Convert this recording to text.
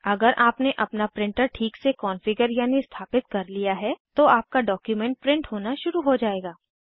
अगर आपने अपना प्रिंटर ठीक से कॉन्फ़िगर यानि स्थापित कर लिया है तो आपका डॉक्यूमेंट प्रिंट होना शुरू हो जायेगा